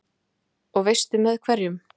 Og veistu með hverjum?